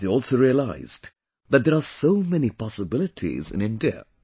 They also realized that there are so many possibilities in India